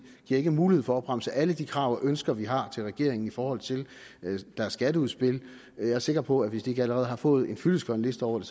giver ikke mulighed for at opremse alle de krav og ønsker vi har til regeringen i forhold til deres skatteudspil jeg er sikker på at hvis de ikke allerede har fået en fyldestgørende liste over det